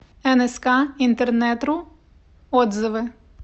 энэска интернетру отзывы